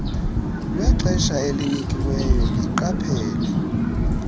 lwexesha elinikiweyo iqaphela